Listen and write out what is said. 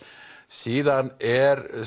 síðan er